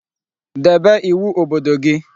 Debe iwu obodo gi